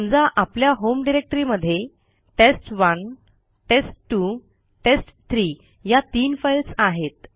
समजा आपल्या होम डिरेक्टरीमध्ये टेस्ट1 टेस्ट2 टेस्ट3 या तीन फाईल्स आहेत